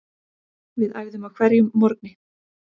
Við æfðum á hverjum morgni.